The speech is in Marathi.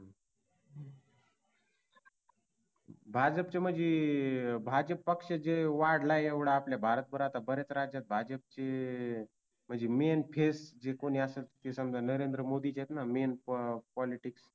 भाजपच म्हंजी भाजप पक्ष जे वाढलाय एवढा आपल्या भारतभर आता तर आता ब-याच राज्यात भाजपचे जे MAIN FACE कोणी असेल ते तर ते समजा नरेंद्र मोदीच आहेत ते तर MAIN POLITICS